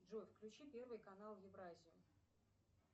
джой включи первый канал евразия